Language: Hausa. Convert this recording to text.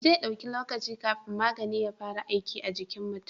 Zai dau lokaci kafin magani ya fara aiki a jikin mutin